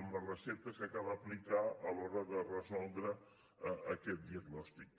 en les receptes que cal aplicar a l’hora de resoldre aquest diagnòstic